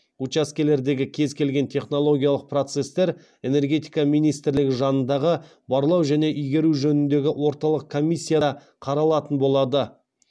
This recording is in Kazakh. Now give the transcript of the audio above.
учаскелердегі кез келген технологиялық процестер энергетика министрлігі жанындағы барлау және игеру жөніндегі орталық комиссияда қаралатын болады